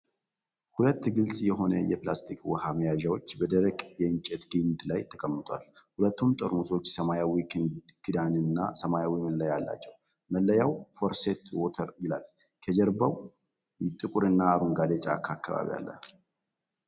ሁለት ግልጽ የሆነ የፕላስቲክ ውሃ መያዣዎች በደረቀ የእንጨት ግንድ ላይ ተቀምጠዋል። ሁለቱም ጠርሙሶች ሰማያዊ ክዳንና ሰማያዊ መለያ አላቸው፣ መለያው "ፎረስት ዋተር" ይላል። ከጀርባ ጥቁር እና አረንጓዴ የጫካ አካባቢ አለ።